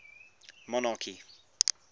monarchy